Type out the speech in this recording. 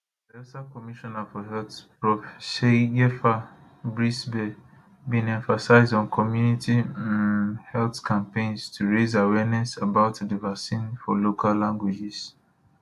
bayelsa commissioner for health prof seiyefa brisibe bin emphasise on community um health campaigns to raise awareness about di vaccine for local languages